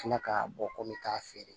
Kila ka bɔ ko n bɛ taa feere